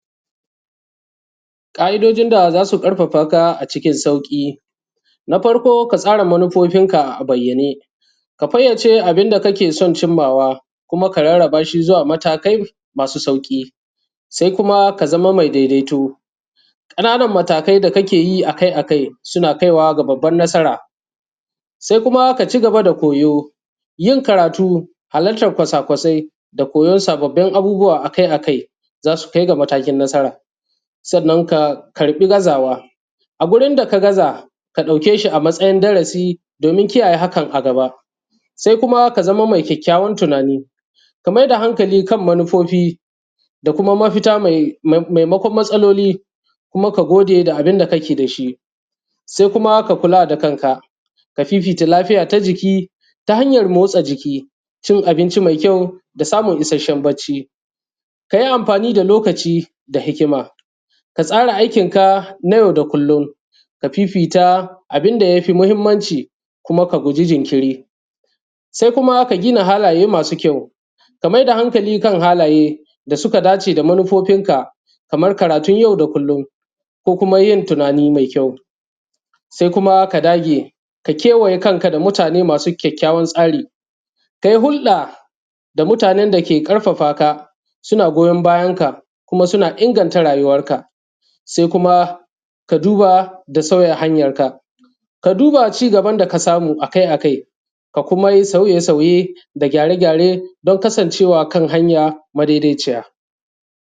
Ka’idojin da za su ƙarfafaka a cikin sauƙi na farko, ka tsara manufofinka a bayyane, ka fayyace abun da kake son cinmawa kuma ka rarraba shi zuwa matakai masu sauƙi, sai kuma ka zamo mai daidaito. Kananan matakai da kake yi akai-akai suna kaiwa ga babban nasara, sai kuma ka cigaba da koyo, yin karatu, halartan kwasa-kwasai da koyon sababbin abubuwa akai-akai za su kai ga matakin nasara. Sannan ka karɓi gazawa a gurin da ka gaza, ka dauke shi a matsayin darasi, domin kiyaye hakan a gaba, sai kuma ka zama mai ƙyakyawan tunani, ka mai da hankali kan manufofi da kuma mafita, maimakon matsaloli, kuma ka gode da abun da kake da shi, sai kuma ka kula da kanka, ka fifita lafiya ta jiki ta hanyan motsa jiki, cin abinci mai ƙyawu da samun ishashen barci. Ka yi amfani da lokaci da hikima, ka tsara aikin ka na yau da kullum, ka fifita abun da ya fi muhimnci, kuma ka guji jinkiri, sai kuma ka gina halaye masu ƙyawu. Ka mai da hankali kan halaye da suka dace da manufofinka, kaman karatun yau da kullum ko kuma yin tunani mai ƙyawu, sai kuma ka dage, ka kewaye kanka da mutane masu ƙyakyawan tsari dai. Hulɗa da mutanen da ke ƙarfafa ka, suna goyon bayan ka kuma suna inganta rayuwan ka, sai kuma ka duba da sauya hanyan ka. Ka duba cigaban da ka samu akai- akai, ka kuma yi sauye-sauye da gyare-gyare domin kasancewa kan hanya madaiciya.